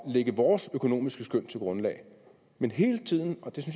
at lægge vores økonomiske skøn til grundlag men hele tiden og det